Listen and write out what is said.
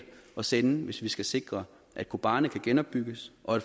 at sende hvis vi skal sikre at kobani kan genopbygges og at